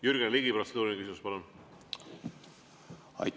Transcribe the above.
Jürgen Ligi, protseduuriline küsimus, palun!